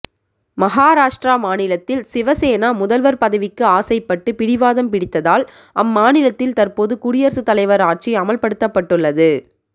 மகாராஷ்ட்ரா மாநிலத்தில் சிவசேனா முதல்வர் பதவிக்கு ஆசைப்பட்டு பிடிவாதம் பிடித்ததால் அம்மாநிலத்தில் தற்போது குடியரசுத் தலைவர் ஆட்சி அமல்படுத்தப்பட்டுள்ளது